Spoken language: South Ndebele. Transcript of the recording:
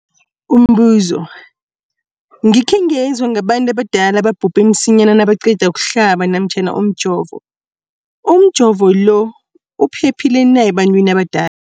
Umbuzo, gikhe ngezwa ngabantu abadala ababhubhe msinyana nabaqeda ukuhlaba namkha ukujova. Umjovo lo uphephile na ebantwini abada